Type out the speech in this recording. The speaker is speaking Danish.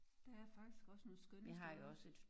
Der er faktisk også nogle skønne steder